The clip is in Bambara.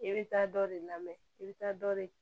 I bɛ taa dɔ de lamɛn i bɛ taa dɔ de